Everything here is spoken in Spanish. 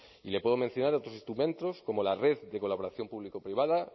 y le puedo mencionar otros instrumentos como la red de colaboración público privada